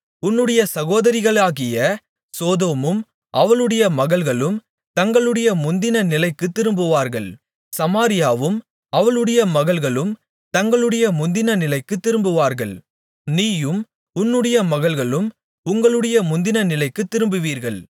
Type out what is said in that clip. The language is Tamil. உன்னுடைய சகோதரிகளாகிய சோதோமும் அவளுடைய மகள்களும் தங்களுடைய முந்தின நிலைக்கு திரும்புவார்கள் சமாரியாவும் அவளுடைய மகள்களும் தங்களுடைய முந்தின நிலைக்குத் திரும்புவார்கள் நீயும் உன்னுடைய மகள்களும் உங்களுடைய முந்தின நிலைக்குத் திரும்புவீர்கள்